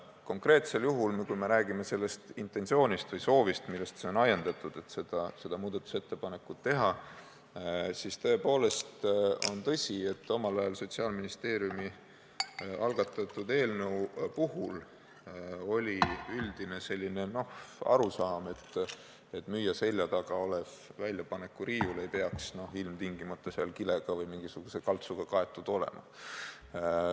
Konkreetsel juhul, kui me räägime sellest intentsioonist või soovist, millest see on ajendatud, et seda muudatusettepanekut teha, siis tõepoolest on tõsi, et Sotsiaalministeeriumi omal ajal algatatud eelnõu puhul oli üldine selline arusaam, et müüja selja taga olev väljapanekuriiul ei peaks ilmtingimata kilega või mingisuguse kaltsuga kaetud olema.